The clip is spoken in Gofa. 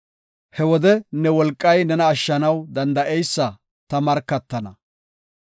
He wode ne wolqay nena ashshanaw danda7eysa ta markatana.